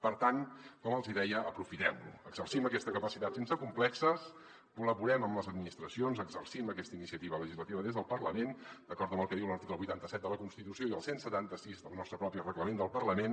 per tant com els hi deia aprofitem· lo exercim aquesta capacitat sense complexos col·laborem amb les administra·cions exercim aquesta iniciativa legislativa des del parlament d’acord amb el que diu l’article vuitanta set de la constitució i el cent i setanta sis del nostre propi reglament del parlament